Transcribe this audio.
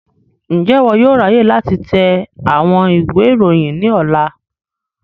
Njẹ iwọ yóò ráyè láti tẹ àwọn ìwé ìròyìn ní ọ̀la?